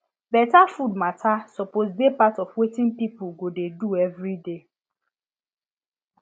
better food matter suppose dey part of wetin people go dey do every day